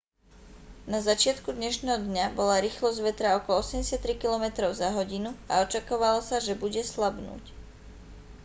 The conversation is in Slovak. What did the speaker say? na začiatku dnešného dňa bola rýchlosť vetra okolo 83 km/h a očakávalo sa že bude slabnúť